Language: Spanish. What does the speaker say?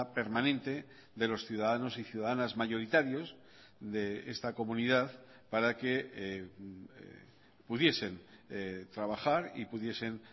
permanente de los ciudadanos y ciudadanas mayoritarios de esta comunidad para que pudiesen trabajar y pudiesen